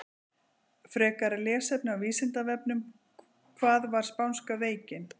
Frekara lesefni á Vísindavefnum: Hvað var spánska veikin?